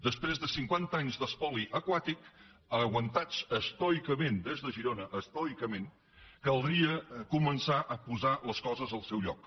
després de cinquanta anys d’espoli aquàtic aguantats estoicament des de girona estoicament caldria començar a posar les coses al seu lloc